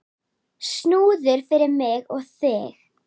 Snúður fyrir mig og þig.